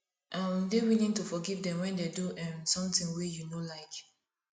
um dey willing to forgive dem when dey do um something wey you no like